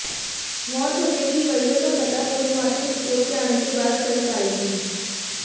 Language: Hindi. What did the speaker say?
मौत होने की वजह का पता पोस्टमार्टम रिपोर्ट आने के बाद ही चल पाएगी